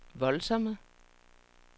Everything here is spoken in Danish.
voldsomme